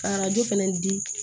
Ka arajo fɛnɛ di